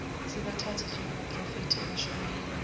sibathathe njengabaphrofethi abashumayela